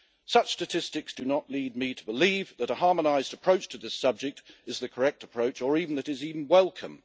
Such statistics do not lead me to believe that a harmonised approach to this subject is the correct approach or that it is even welcome.